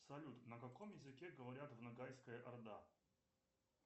салют на каком языке говорят в ногайская орда